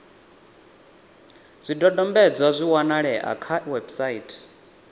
zwidodombedzwa zwi a wanalea kha website